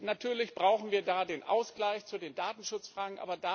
Natürlich brauchen wir da den Ausgleich bezüglich der Datenschutzfragen.